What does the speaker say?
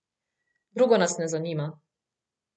Drugo nas ne zanima.